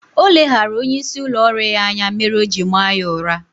Oleghara onye isi ụlọ ọrụ ya anya mere oji maa ya ụra